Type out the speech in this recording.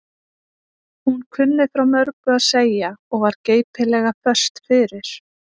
Hún kunni frá mörgu að segja og var geipilega föst fyrir.